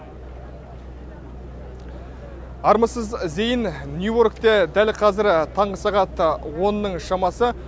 армысыз зейін нью йоркте дәл қазір таңғы сағат онның шамасы